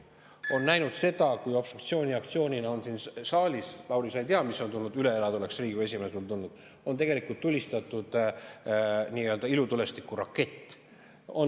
On nähtud seda, kui obstruktsiooni aktsioonina on siin saalis – Lauri, sa ei tea, mis oleks tulnud siin üle elada, kui oleksid siis Riigikogu esimees olnud – tulistatud ilutulestikuraketti.